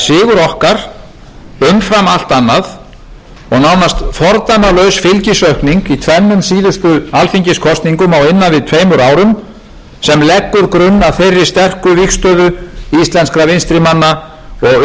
sigur okkar umfram allt annað og nánast fordæmalaus fylgisaukning í tvennum síðustu alþingiskosningum á innan við tveimur árum sem leggur grunn að þeirri vígstöðu íslenskra vinstrimanna og umhverfisverndarsinna sem sér meðal annars stað í ríkisstjórn samfylkingar og vinstri grænna það er líka sögulegt að mynduð skuli